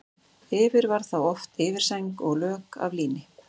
Yfir var þá oft yfirsæng og lök af líni.